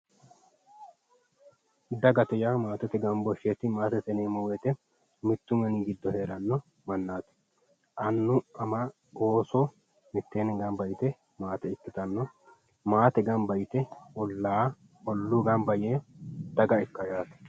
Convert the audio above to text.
dagate yaa maatete gambooshsheeti maate mittu mini giddo heeranno mannaati annu ama ooso mitteenni gamba ytewo maate ikkitanno maate gamba yte olla olluu gamba yee daga ikkaawo yaate